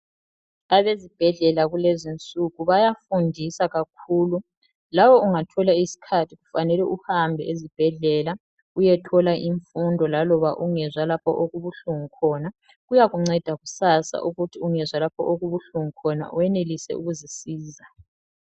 Abazibhedlela kulezinsuku bayafundisa kakhulu lawe ungathola isikhathi kufanele uhambe ezibhedlela uyethola imfundo laloba ungezwa lapho okubuhlungu khona. Kuyakunceda kusasa ukuthi ungezwa lapho okubuhlungu khona uyenelise ukuzisiza.